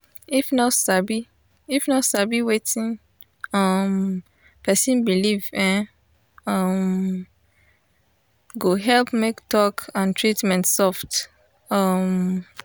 if nurse sabi if nurse sabi wetin um person believe[um][um] go help make talk and treatment soft. um